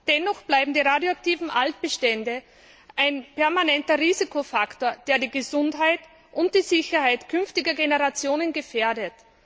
Dennoch bleiben die radioaktiven Altbestände ein permanenter Risikofaktor, der die Gesundheit und die Sicherheit künftiger Generationen gefährdet.